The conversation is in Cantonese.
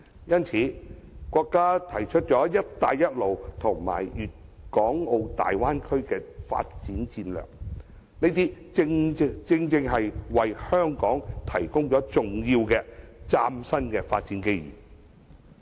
因此，國家提出"一帶一路"和粵港澳大灣區的發展戰略，正好為香港提供了重要的嶄新發展機遇。